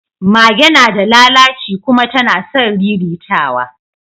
Mage nada lalaci kuma tana son riritawa